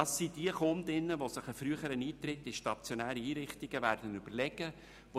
Das sind diejenigen Kundinnen, die sich einen früheren Eintritt in stationäre Einrichtungen überlegen werden.